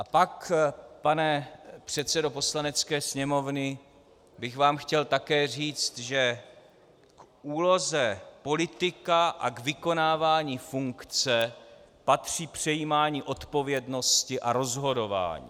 A pak, pane předsedo Poslanecké sněmovny, bych vám chtěl také říct, že k úloze politika a k vykonávání funkce patří přejímání odpovědnosti a rozhodování.